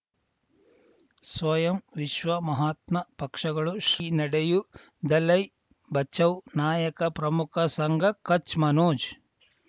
ಸ್ವಯಂ ವಿಶ್ವ ಮಹಾತ್ಮ ಪಕ್ಷಗಳು ಶ್ರೀ ನಡೆಯೂ ದಲೈ ಬಚೌ ನಾಯಕ ಪ್ರಮುಖ ಸಂಘ ಕಚ್ ಮನೋಜ್